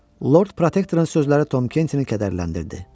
Lord Protektorun sözləri Tom Kenti kədərləndirdi.